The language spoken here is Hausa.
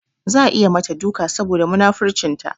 Za a yi mata duka saboda munafurcinta.